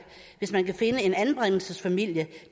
hvis man kan finde en anbringelsesfamilie